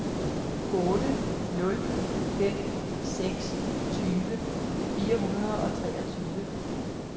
otte nul fem seks tyve fire hundrede og treogtyve